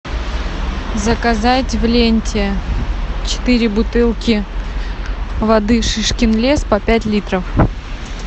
заказать в ленте четыре бутылки воды шишкин лес по пять литров